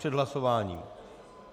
Před hlasováním.